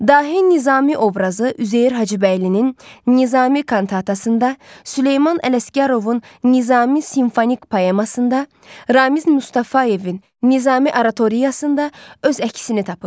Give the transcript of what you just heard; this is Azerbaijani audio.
Dahi Nizami obrazı Üzeyir Hacıbəylinin Nizami kantatasında, Süleyman Ələsgərovun Nizami simfonik poemasında, Ramiz Mustafayevin Nizami oratoriyasında öz əksini tapıb.